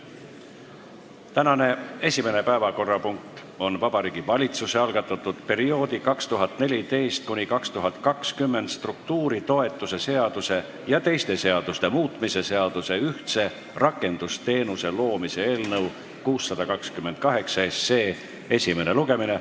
Tänane esimene päevakorrapunkt on Vabariigi Valitsuse algatatud perioodi 2014–2020 struktuuritoetuse seaduse ja teiste seaduste muutmise seaduse eelnõu 628 esimene lugemine.